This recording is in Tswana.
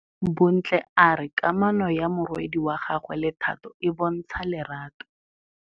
Bontle a re kamanô ya morwadi wa gagwe le Thato e bontsha lerato.